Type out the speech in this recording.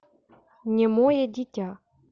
немое дитя